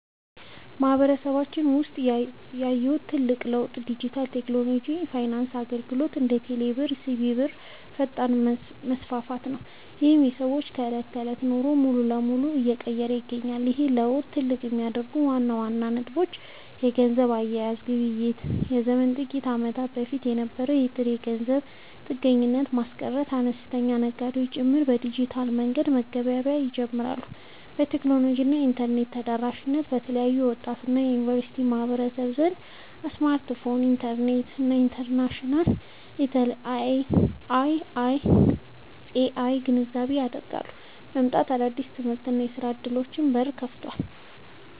በማህበረሰባችን ውስጥ ያየሁት ትልቁ ለውጥ የዲጂታል ቴክኖሎጂ እና የፋይናንስ አገልግሎቶች (እንደ ቴሌብር እና ሲቢኢ ብር) ፈጣን መስፋፋት ነው፤ ይህም የሰዎችን የዕለት ተዕለት ኑሮ ሙሉ በሙሉ እየቀየረ ይገኛል። ይህን ለውጥ ትልቅ የሚያደርጉት ዋና ዋና ነጥቦች - የገንዘብ አያያዝ እና ግብይት መዘመን፦ ከጥቂት ዓመታት በፊት የነበረውን የጥሬ ገንዘብ ጥገኝነት በማስቀረት፣ አነስተኛ ነጋዴዎች ጭምር በዲጂታል መንገድ መገበያየት ጀምረዋል። የቴክኖሎጂ እና የኢንተርኔት ተደራሽነት፦ በተለይ በወጣቱ እና በዩኒቨርሲቲ ማህበረሰብ ዘንድ የስማርትፎን፣ የኢንተርኔት እና የአርቴፊሻል ኢንተለጀንስ (AI) ግንዛቤ እያደገ መምጣቱ ለአዳዲስ የትምህርትና የሥራ ዕድሎች በር ከፍቷል።